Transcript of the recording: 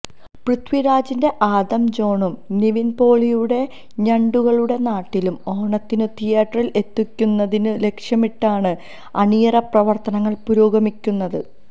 പൃഥ്വി രാജിന്റെ ആദം ജോണും നിവിൻ പോളിയുടെ ഞണ്ടുകളുടെ നാട്ടിലും ഓണത്തിന് തീയറ്ററിൽ എത്തിക്കുന്നതിന് ലക്ഷ്യമിട്ടാണ് അണിയറ പ്രവർത്തനങ്ങൾ പുരോഗമിക്കുന്നത്